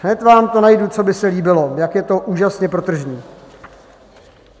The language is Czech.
Hned vám to najdu, co by se líbilo, jak je to úžasně protržní.